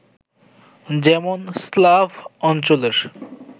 যেমন, স্লাভ অঞ্চলের